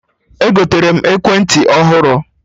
Egotere m ekwentị ọhụrụ